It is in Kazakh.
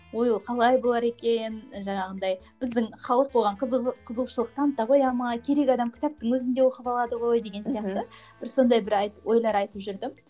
ой ол қалай болар екен жаңағындай біздің халық оған қызығушылық таныта қоя ма керек адам кітаптың өзін де оқып алады ғой деген сияқты бір сондай бір ойлар айтып жүрдім